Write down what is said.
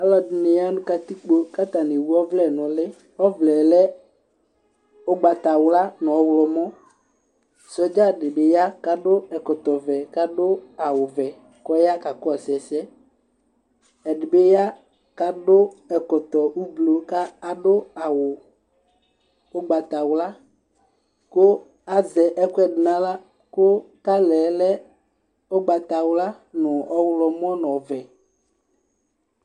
Ɔlɔdɩnɩ ya nʋ katikpo, kʋ atanɩ ewu ɔvlɛ nʋ ʋlɩ Ɔvlɛ yɛ lɛ ugbatawla nʋ ɔɣlɔmɔ Sɔdza dɩ bɩ ya kʋ adu ɛkɔtɔvɛ, kʋ adu awuvɛ, kʋ ɔya ka kɔsʋ ɛsɛ Ɛdɩ bɩ ya kʋ adu ɛkɔtɔ ʋblʋ, kʋ adu awu ugbatawla, kʋ azɛ ɛkʋ ɛdɩ nʋ aɣla, kʋ 'kalɩ' yɛ lɛ ugatawla nʋ ɔɣlɔmɔ nʋ ɔvɛ